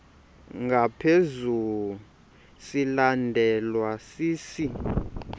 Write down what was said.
ngaphezu silandelwa sisi